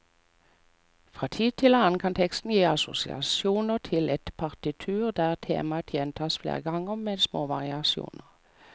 Fra tid til annen kan teksten gi assosiasjoner til et partitur der temaer gjentas flere ganger, men med små variasjoner.